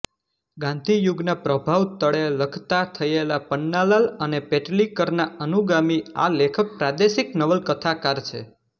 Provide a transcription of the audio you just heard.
ગાંધીયુગના પ્રભાવ તળે લખતા થયેલા પન્નાલાલ અને પેટલીકરના અનુગામી આ લેખક પ્રાદેશિક નવલકથાકાર છે